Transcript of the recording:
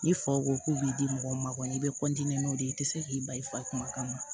Ni faw ko k'u b'i di mɔgɔ ma kɔni i bɛ n'o de ye i tɛ se k'i bali i fa kuma kama